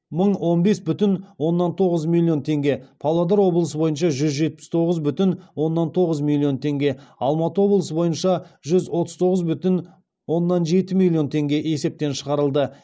мың он бес бүтін оннан тоғыз миллион теңге павлодар облысы бойынша жүз жетпіс тоғыз бүтін оннан тоғыз миллион теңге алматы облысы бойынша жүз отыз тоғыз бүтін оннан жеті миллион теңге есептен шығарылды